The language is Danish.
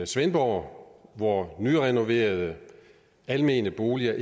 svendborg hvor nyrenoverede almene boliger